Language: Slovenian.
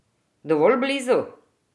Dovolj blizu?